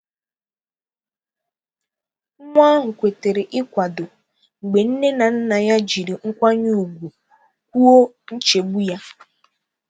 Nwa ahụ kwetara ịkwado mgbe nne na nna jiri nkwanye ùgwù kwuo nchegbu ya.